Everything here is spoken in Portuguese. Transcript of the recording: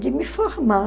de me formar.